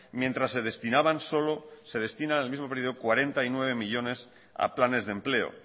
mientras que se destinaban solo se destinan en el mismo periodo cuarenta y nueve millónes a planes de empleo